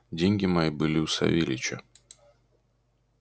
деньги мои были у савельича